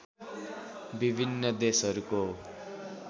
विभिन्न देशहरूको